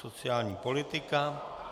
Sociální politika.